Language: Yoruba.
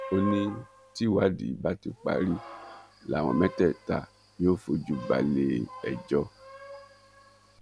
ó ní tìwádìí bá ti parí làwọn mẹtẹẹta yóò fojú balẹ ẹjọ